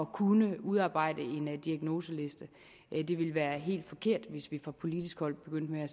kunne udarbejde en diagnoseliste det ville være helt forkert hvis vi fra politisk hold begyndte at